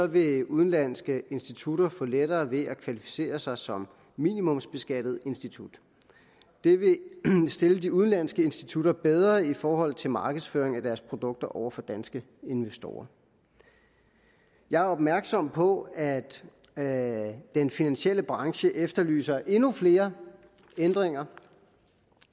vil udenlandske institutter få lettere ved at kvalificere sig som minimumsbeskattet institut det vil stille de udenlandske institutter bedre i forhold til markedsføring af deres produkter over for danske investorer jeg er opmærksom på at at den finansielle branche efterlyser endnu flere ændringer